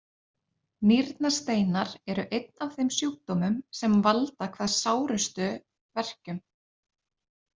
Nýrnasteinar eru einn af þeim sjúkdómum sem valda hvað sárustum verkjum.